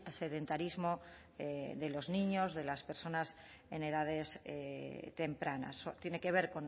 sedentarismo de los niños de las personas en edades tempranas tiene que ver